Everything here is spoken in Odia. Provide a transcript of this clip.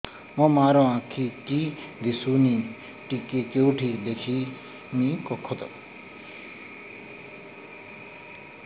ମୋ ମା ର ଆଖି କି ଦିସୁନି ଟିକେ କେଉଁଠି ଦେଖେଇମି କଖତ